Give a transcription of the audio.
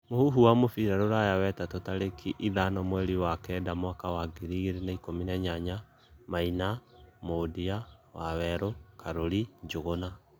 muhũhũ wa mũbĩra rũraya wetatũ tarĩkĩ ĩthano mwerĩ wa Kenda mwaka wa ngĩrĩ ĩgĩrĩ na ĩkumi na inyanya: maina, mundia ,waweru, Karuri, njuguna